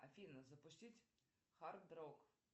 афина запустить хард рок